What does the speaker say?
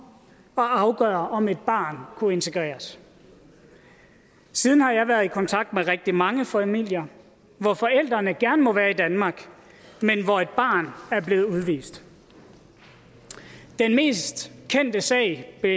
og afgøre om et barn kunne integreres siden har jeg været i kontakt med rigtig mange familier hvor forældrene gerne må være i danmark men hvor et barn er blevet udvist den mest kendte sag er